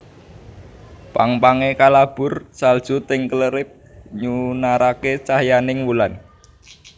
Pang pange kalabur salju ting krelip nyunarake cahyaning wulan